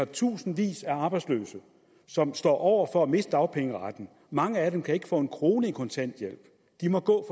tusindvis af arbejdsløse som står over for at miste dagpengeretten mange af dem kan ikke få en krone i kontanthjælp de må gå